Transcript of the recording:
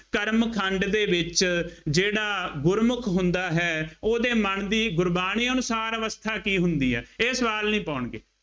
ਕਰਮ ਖੰਡ ਦੇ ਵਿੱਚ ਜਿਹੜਾ ਗੁਰਮੁੱਖ ਹੁੰਦਾ ਹੈ, ਉਹਦੇ ਮਨ ਦੀ ਗੁਰਬਾਣੀ ਅਨੁਸਾਰ ਅਵਸਥਾ ਕੀ ਹੁੰਦੀ ਹੈ। ਇਹ ਸਵਾਲ ਨਹੀਂ ਪਾਉਣਗੇ।